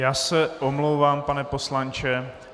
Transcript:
Já se omlouvám, pane poslanče.